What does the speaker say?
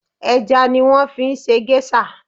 Ẹja ni wọ́n fi ṣe gẹ́ṣà